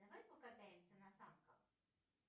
давай покатаемся на санках